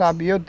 Sabe? eu...